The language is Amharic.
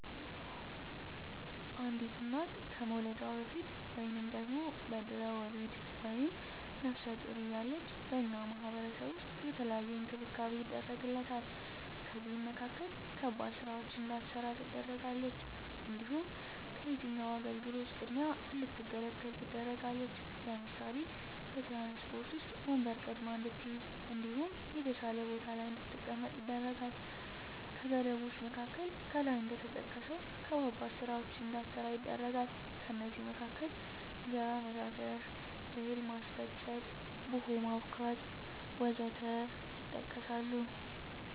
አንዲት እና ከመዉለዷ በፊት(በድሕረ ወሊድ)ወይም ነብሰ ጡር እያለች በእኛ ማህበረሰብ ዉስጥ የተለየ እንክብካቤ ይደረግላታል ከእነዚህም መካከል ከባድ ስራወችን እንዳትሰራ ትደረጋለች። እንዲሁም ከየትኛዉም አገልግሎት ቅድሚያ እንድትገለገል ትደረጋለች ለምሳሌ፦ በትራንስፖርት ዉስጥ ወንበር ቀድማ እንድትይዝ እንዲሁም የተሻለ ቦታ ላይ እንድትቀመጥ ይደረጋል። ከገደቦች መካከል ከላይ እንደተጠቀሰዉ ከባባድ ስራወችን እንዳትሰራ ይደረጋል ከእነዚህም መካከል እንጀራ መጋገር፣ እህል ማስፈጨት፣ ቡሆ ማቡካት ወዘተ ይጠቀሳል